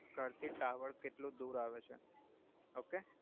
ઘરથી ટાવર કેટ્લો દુર આવે છે ઓકે